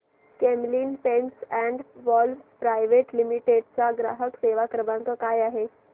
Camlin pumps and valves private limited चा ग्राहक सेवा क्रमांक काय आहे